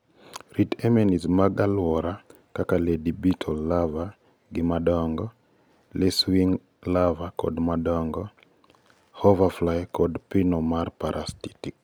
rit enemies mag aluora kaka lady beetle larvae gi madongo, lacewing larvae kod madongo, hover fly kod pino ma parasitic